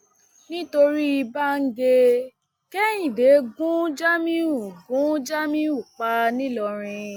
nítorí báńgẹ kehinde gun jamiu gun jamiu pa nìlọrin